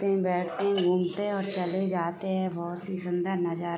ते हैं बैठते हैं घूमते हैं और चले जाते हैं बहुत ही सुंदर नजारा --